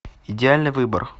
идеальный выбор